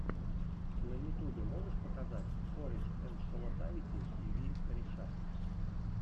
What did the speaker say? на ютубе можешь показать корешэндшколотави и ви кореша